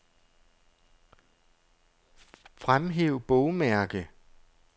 Fremhæv bogmærke.